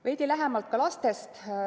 Veidi lähemalt ka lastest.